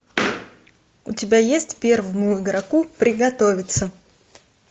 у тебя есть первому игроку приготовиться